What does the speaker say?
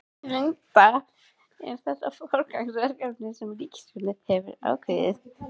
Linda, er þetta forgangsverkefni sem ríkisstjórnin hefur ákveðið?